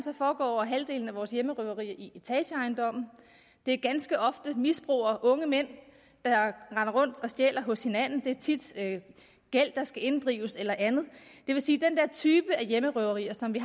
foregår over halvdelen af vores hjemmerøverier i etageejendomme det er ganske ofte misbrugere unge mænd der render rundt og stjæler hos hinanden det er tit gæld der skal inddrives eller andet det vil sige at af hjemmerøverier som vi